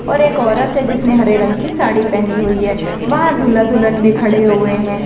और एक औरत है जिसेने हरे रंग की साड़ी पहनी हुई है वहां दूल्हा दुल्हन भी खड़े हुए हैं।